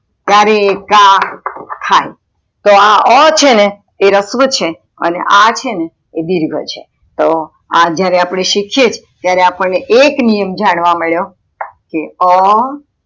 ત્યારે ક થાય તો આ અ છેને એ રસ્વ છે અને આ છેને એ દિર્ઘ છે તો આ જયારે અપડે આ શીખીએ ત્યારે અપદને એક નિયમ જાણવા મળ્યો કે અ,